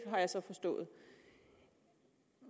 jeg så forstået